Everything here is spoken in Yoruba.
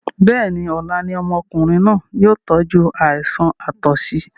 Bẹ́ẹ̀ni, ọlá ni ọmọkùnrin náà yìí ó tọju àìsàn àtọ̀sí